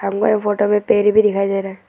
ये फोटो में पेर भी दिखाई दे रहा है।